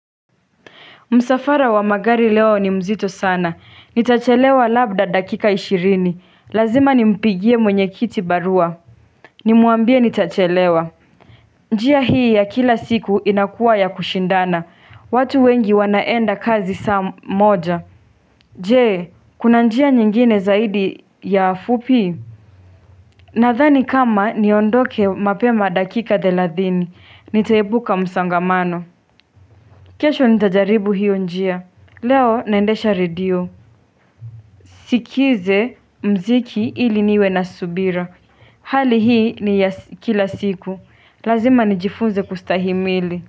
Msafara wa magari leo ni mzito sana, nitachelewa labda dakika ishirini, lazima nimpigie mwenye kiti barua. Nimwambie nitachelewa. Njia hii ya kila siku inakuwa ya kushindana, watu wengi wanaenda kazi saa moja. Jee, kuna njia nyingine zaidi ya fupi? Nathani kama niondoke mapema dakika dhelathini, nitaepuka msangamano. Kesho nitajaribu hiyo njia. Leo naendesha redio, sikize mziki ili niwe na subira. Hali hii ni ya kila siku Lazima nijifunze kustahimili.